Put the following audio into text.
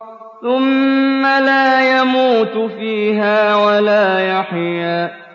ثُمَّ لَا يَمُوتُ فِيهَا وَلَا يَحْيَىٰ